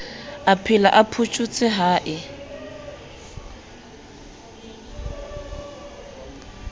aphela o photjhotse ha e